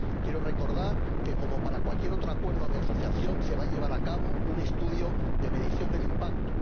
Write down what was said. Quiero recordar que, como para cualquier otro acuerdo de asociación, se va a llevar a cabo un estudio de medición del impacto.